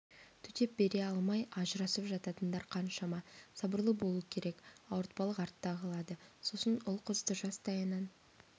төтеп бере алмай ажырасып жататындар қаншама сабырлы болу керек ауыртпалық артта қалады сосын ұл-қызды жастайынан